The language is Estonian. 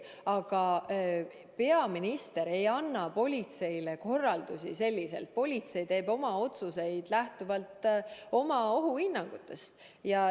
Aga peaminister ei anna politseile korraldusi, politsei teeb otsuseid lähtuvalt oma ohuhinnangust.